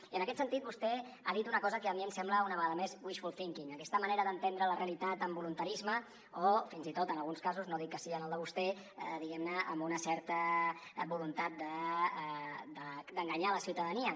i en aquest sentit vostè ha dit una cosa que a mi em sembla una vegada més wishful thinking aquesta manera d’entendre la realitat amb voluntarisme o fins i tot en alguns casos no dic que sigui en el de vostè diguem ne amb una certa voluntat d’enganyar la ciutadania